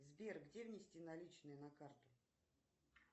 сбер где внести наличные на карту